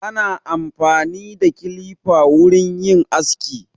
Ana amfani da kilifa wurin yin aski.